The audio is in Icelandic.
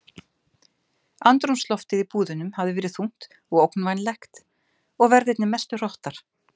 Andrúmsloftið í búðunum hafi verið þungt og ógnvænlegt og verðirnir mestu hrottar.